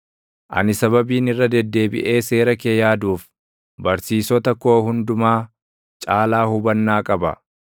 Ani sababiin irra deddeebiʼee seera kee yaaduuf, barsiisota koo hundumaa caalaa hubannaa qaba.